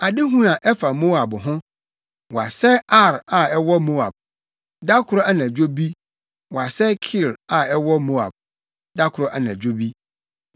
Adehu a ɛfa Moab ho: Wɔasɛe Ar a ɛwɔ Moab Da koro anadwo bi, wɔasɛe Kir a ɛwɔ Moab da koro anadwo bi! + 15.1 Ar ne Kir yɛ Moabfo nkurow atitiriw abien.